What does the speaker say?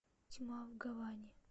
тьма в гаване